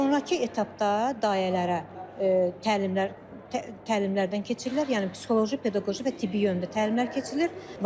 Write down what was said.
Sonrakı etapda dayələrə təlimlər, təlimlərdən keçirilir, yəni psixoloji, pedaqoji və tibbi yöndə təlimlər keçirilir.